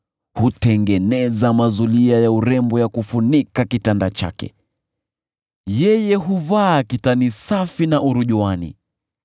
Hutengeneza mazulia ya urembo ya kufunika kitanda chake, yeye huvaa kitani safi na urujuani.